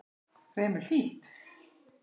Fremur hlýtt.